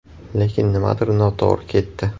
Lekin nimadir noto‘g‘ri ketdi.